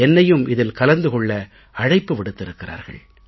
என்னையும் இதில் கலந்து கொள்ள அழைப்பு விடுத்திருக்கிறார்கள்